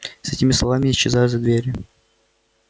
с этими словами исчезаю за дверью